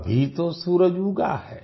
अभी तो सूरज उगा है